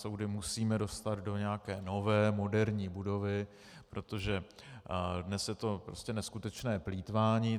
Soudy musíme dostat do nějaké nové moderní budovy, protože dnes je to prostě neskutečné plýtvání.